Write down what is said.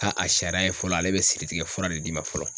a sariya ye fɔlɔ ale bɛ siritigɛ fura de d'i ma fɔlɔ